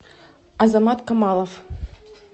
азамат камалов